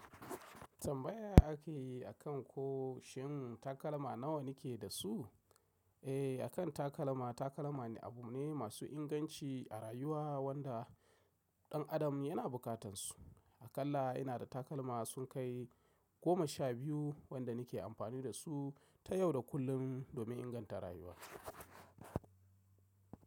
Tambaya ake yi akan ko shin takalma nawa ni ke da su? Eh, akan takalma, takalma ne abu ne masu inganci a rayuwa wanda ɗan adam yana bukatansu. Akalla inada takalma sun kai goma sha biyu wanda nake amfani da su ta yau da kullum domin inganta rayuwa.